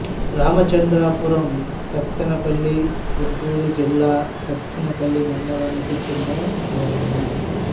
రామచంద్రపురం సత్తెనపల్లి గుంటూరు జిల్లా సత్తెనపల్లి మండలానికి చెందిన గ్రామం